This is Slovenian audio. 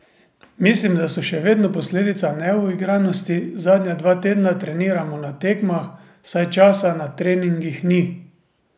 Mislim, da so še vedno posledica neuigranosti, zadnja dva tedna treniramo na tekmah, saj časa na treningih ni.